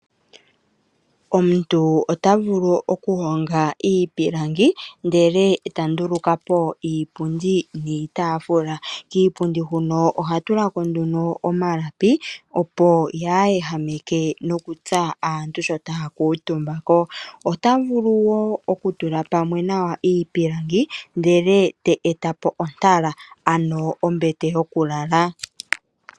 Omuntu ota vulu okuhonga iipilangi ndele ta nduluka po iipundi niitaafula. Kiipundi huno oha tula ko nduno omalapi opo kaayi ehameke nokutsa aantu ngele taya kuutumba ko. Ota vulu wo okutula pamwe nawa iipilangi ndele ta eta po ontala ano ombete yokulala.